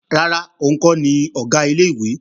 Rárá, òun kọ́ ni Ọ̀gá ilé-ìwé